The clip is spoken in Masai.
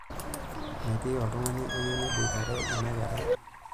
Metii oltung'ani oyieu neboitare ina kerai.